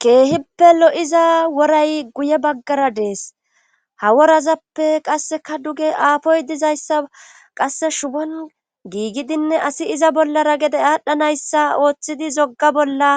keehippe lo7iza woray guye baggara dees. haworazappe qasseka duge aafoy dizayssa qasse shubon giigidinne asi iza bollara gede aadhdhanayssa ooththidi zogga bolla